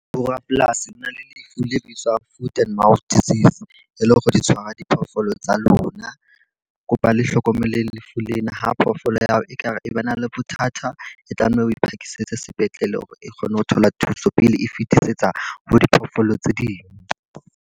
Borapolasi le na le lefu le bitswang food and mouth disease. E le hore di tshwara diphoofolo tsa lona. Ke kopa le hlokomele lefu lena. Ha phoofolo ya hao e ka re e ba na le bothata e tlameha o phakisetse sepetlele hore e kgone ho thola thuso pele e fetisetsa ho diphoofolo tse ding.